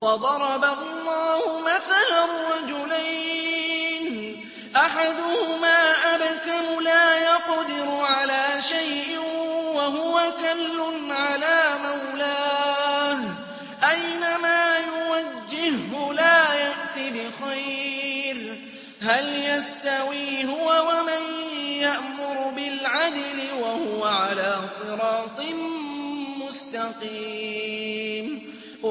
وَضَرَبَ اللَّهُ مَثَلًا رَّجُلَيْنِ أَحَدُهُمَا أَبْكَمُ لَا يَقْدِرُ عَلَىٰ شَيْءٍ وَهُوَ كَلٌّ عَلَىٰ مَوْلَاهُ أَيْنَمَا يُوَجِّههُّ لَا يَأْتِ بِخَيْرٍ ۖ هَلْ يَسْتَوِي هُوَ وَمَن يَأْمُرُ بِالْعَدْلِ ۙ وَهُوَ عَلَىٰ صِرَاطٍ مُّسْتَقِيمٍ